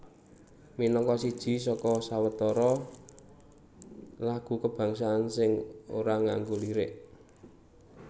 Minangka siji saka sawetara lagu kabangsan sing ora nganggo lirik